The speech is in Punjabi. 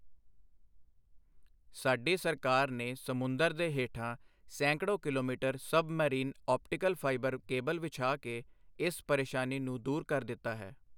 ਸਾਡੀ ਸਰਕਾਰ ਨੇ ਸਮੁੰਦਰ ਦੇ ਹੇਠਾਂ ਸੈਂਕੜੋ kilometre submarine optical fibre cable ਵਿਛਾ ਕੇ, ਇਸ ਪਰੇਸ਼ਾਨੀ ਨੂੰ ਦੂਰ ਕਰ ਦਿੱਤਾ ਹੈ।